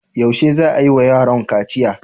Yaushe za a yi wa yaron kaciya?